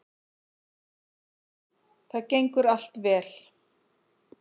Það gengur allt vel